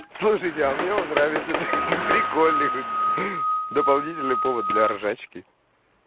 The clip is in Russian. слушайте а мне он нравится ха-ха прикольный дополнительный повод для ржачки